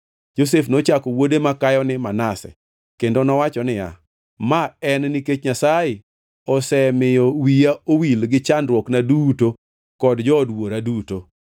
Josef nochako wuode makayo ni Manase kendo nowacho niya, “Ma en nikech Nyasaye osemiyo wiya owil gi chandruokna duto kod jood wuora duto.”